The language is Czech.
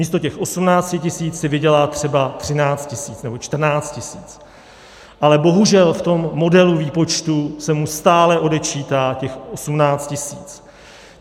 Místo těch 18 tisíc si vydělá třeba 13 tisíc nebo 14 tisíc, ale bohužel v tom modelu výpočtu se mu stále odečítá těch 18 tisíc.